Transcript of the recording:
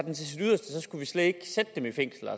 skulle man slet ikke sætte dem i fængsel